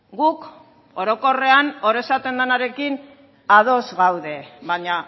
guk orokorrean hor esaten denarekin ados gaude baina